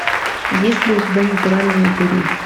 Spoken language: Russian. есть ли у тебя натуральные упыри